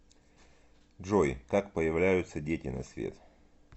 джой как появляются дети на свет